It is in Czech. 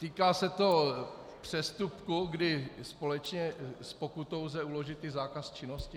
Týká se to přestupku, kdy společně s pokutou lze uložit i zákaz činnosti.